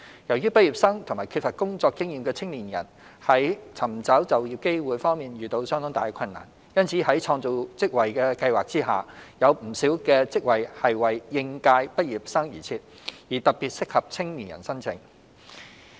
由於畢業生和缺乏工作經驗的青年人在尋求就業機會方面遇到相當大的困難，因此在創造職位計劃下，有不少職位是為應屆畢業生而設，而特別適合青年人申請。